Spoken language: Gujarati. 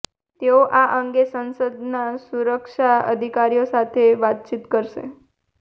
તેઓ આ અંગે સંસદના સુરક્ષા અધિકારીઓ સાથે વાતચીત કરશે